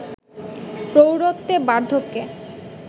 প্রৌঢ়ত্বে, বার্ধক্যে